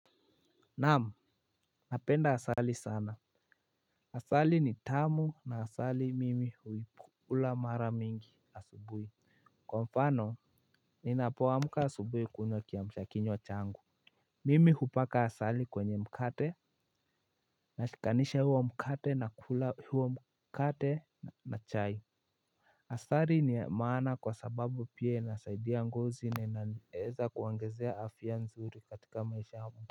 Naam, napenda asali sana. Asali ni tamu na asali mimi huikula mara mingi asubuhi. Kwa mfano, ninapo amka asubuhi kunywa kiamsha kinywa changu. Mimi hupaka asali kwenye mkate, nashikanisha huo mkate na kula huo mkate na chai. Asali ni maana kwa sababu pia nasaidia ngozi na inaeza kuongezea afia nzuri katika maisha yangu.